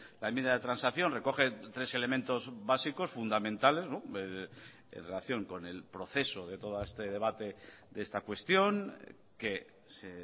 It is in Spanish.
la enmienda de transacción recoge tres elementos básicos fundamentales en relación con el proceso de todo este debate de esta cuestión que se